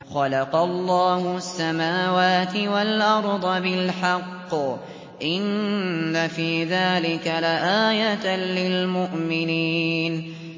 خَلَقَ اللَّهُ السَّمَاوَاتِ وَالْأَرْضَ بِالْحَقِّ ۚ إِنَّ فِي ذَٰلِكَ لَآيَةً لِّلْمُؤْمِنِينَ